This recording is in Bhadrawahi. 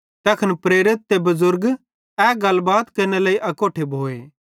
तैखन प्रेरित ते बुज़ुर्ग ए गलबात केरनेरे लेइ अकोट्ठे भोए